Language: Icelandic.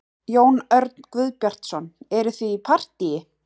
Jón Örn Guðbjartsson: Eruð þið í partýi?